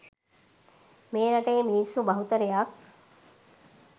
මේ රටේ මිනිස්සු බහුතරයක්